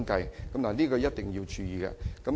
這方面，政府一定要注意。